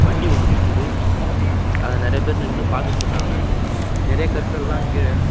வண்டி ஒன்னு நிக்குது அத நெறையா பேர் நின்னு பாத்துட்ருக்காங்க நெறையா கற்கள்லா கீழ.